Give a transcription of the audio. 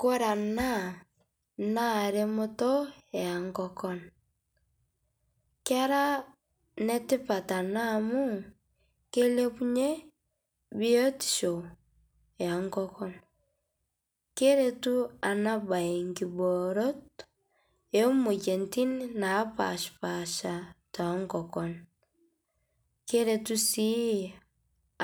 Kore ana naa remotoo enkokon kera netipat anaa amuu keilepunyee biotishoo enkokon, keretu ana bai nkiboorot emoyanitin napashpaasha te nkokon keretuu sii